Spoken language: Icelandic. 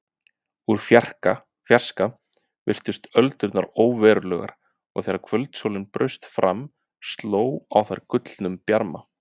Úr fjarska virtust öldurnar óverulegar og þegar kvöldsólin braust fram sló á þær gullnum bjarma.